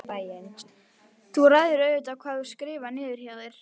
En þú ræður auðvitað hvað þú skrifar niður hjá þér.